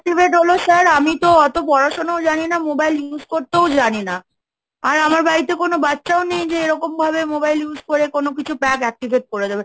Activate হল sir? আমি তো অত পড়াশোনাও জানি না, Mobile use করতেও জানি না, আর আমার বাড়িতে কোন বাচ্চাও নেই যে এরকম ভাবে Mobile use করে কোন কিছু pack Activate করে দেবে।